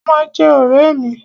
Wọ́n ma jẹ́ ọ̀rẹ́ mi.